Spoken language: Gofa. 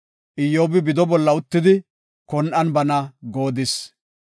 Iyyobi bido bolla uttidi kon7an bana goodis.